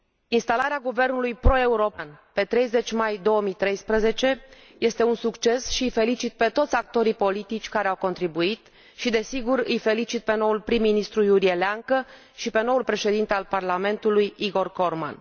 Instalarea guvernului pro european, pe 30 mai 2013, este un succes și îi felicit pe toți actorii politici care au contribuit și, desigur, îi felicit pe noul prim ministru Iurie Leancă și pe noul președinte al parlamentului, Igor Corman.